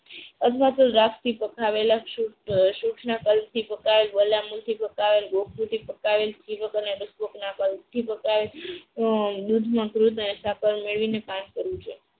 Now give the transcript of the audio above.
દૂધમાં મધ અને સાંકળ મેળવીને સેવન કરવું જોઈએ.